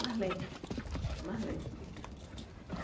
Mais lento, mais lento.